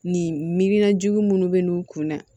Nin miirina jugu munnu be n'u kun na